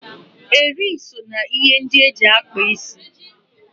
Eri so na ihe ndị eji akpa isi.